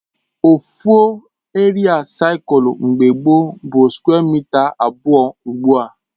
Ofu eria seculu mgbe gbo bụ skwe mịta abụọ ugbua